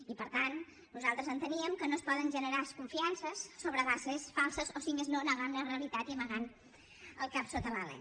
i per tant nosaltres enteníem que no es poden generar confiances sobre bases falses o si més no negant la realitat i amagant el cap sota l’ala